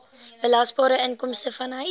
belasbare inkomste vanuit